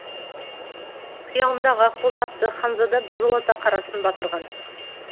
қиялындағы ақбоз атты ханзада біржолата қарасын батырған